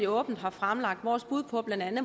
åbent har fremlagt vores bud på